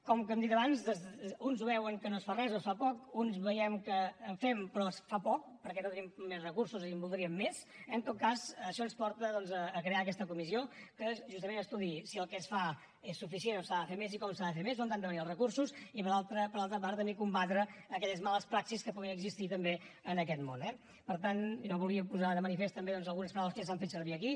com hem dit abans uns veuen que no es fa res o es fa poc uns veiem que fem però es fa poc perquè no tenim més recursos i en voldríem més eh en tot cas això ens porta doncs a crear aquesta comissió que justament estudiï si el que es fa és suficient o s’ha de fer més i com s’ha de fer més d’on han de venir els recursos i per l’altra part també combatre aquelles males praxis que puguin existir també en aquest món eh per tant jo volia posar de manifest també doncs algunes paraules que ja s’han fet servir aquí